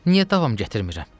Niyə davam gətirmirəm?